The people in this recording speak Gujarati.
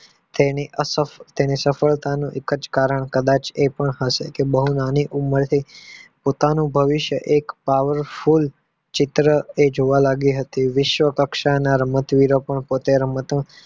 તેની એજ જ કારણ હશે કે બોવ નાની ઉમર થી પોતાનું ભવિષ્ય power full ચિત્ર એ જોવા લાગી હતી વિશ્વ કક્ષાના